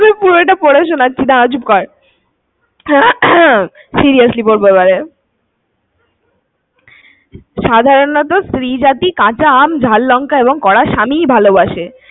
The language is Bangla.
আমি পুরোটা পড়ে শোনাচ্ছি, দাড়া চুপ কর। Seriously বলবো। এবারে। সাধারণত স্ত্রী জাতী কাঁচা আম, ঝাল লঙ্কা এবং কড়া স্বামী ই ভালোবাসে।